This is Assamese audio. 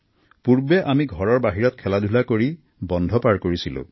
পূৰ্বে আমি ঘৰৰ বাহিৰত খেলাধূলা কৰি বন্ধ পাৰ কৰিছিলো